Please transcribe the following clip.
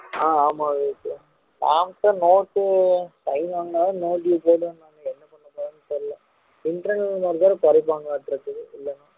ஆஹ் ஆமா விவேக்கு ma'am ட note sign வாங்குனா தான் no due போடுவேன்னாங்க என்ன பண்ண போறாங்கன்னு தெரியல internal mark வேற குறைப்பாங்களாட்டுருக்குது